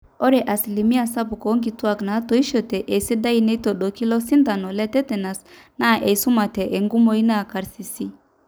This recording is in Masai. ore asilimia sapuk oonkituaak naatoishote esidai netoodoki ilo sintano le tetenus naa eisumate enkumoi naa karsisi